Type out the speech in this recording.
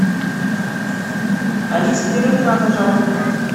алиса первый канал пожалуйста